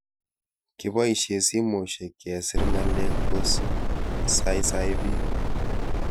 Kepoishe simoshek kesir ng'alek ko saisai pik